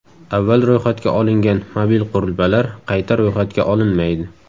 Avval ro‘yxatga olingan mobil qurilmalar qayta ro‘yxatga olinmaydi.